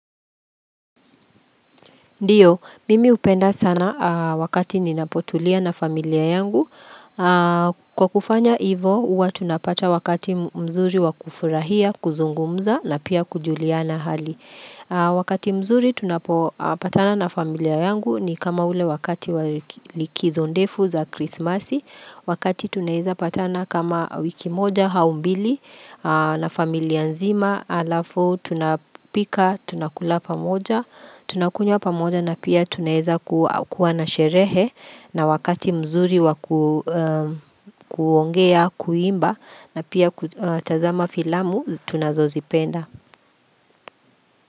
Ndiyo, mimi upenda sana wakati ninapotulia na familia yangu. Kwa kufanya ivo, uwa tunapata wakati mzuri wakufurahia, kuzungumza na pia kujuliana na hali. Wakati mzuri tunapokutana na familia yangu ni kama ule wakati wakati likizo ndefu za krismasi. Wakati tunaweza patana kama wiki moja au mbili na familia nzima. Alafu tunapika tunakula pamoja tunakunya pamoja na pia tunaweza kuwa na sherehe na wakati mzuri kuongea kuimba na pia kutazama filamu tunazo zipenda.